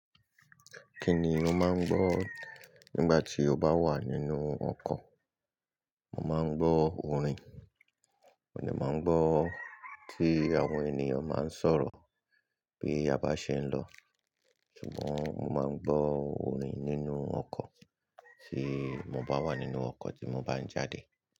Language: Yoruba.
Kí ni o máa ń gbọ́ nígbà tí o bá wà nínú ọkọ̀? Mo máa ń gbọ́ orin, mo de máa ń gbọ́ tí àwọn ènìyàn báa ń sọ̀rọ̀ bí a bá ṣe ń lọ. Ṣùgbọ́n mo máa ń gbọ́ orin nínú ọkọ̀ tí mo bá wà nínú ọkọ̀ tí mo bá ń jáde.